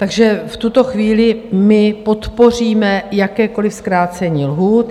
Takže v tuto chvíli my podpoříme jakékoliv zkrácení lhůt.